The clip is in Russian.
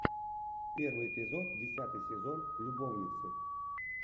первый эпизод десятый сезон любовницы